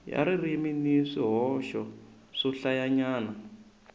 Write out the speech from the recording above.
ya ririmi ni swihoxo swohlayanyana